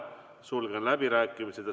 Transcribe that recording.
Sulgen läbirääkimised.